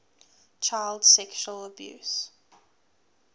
child sexual abuse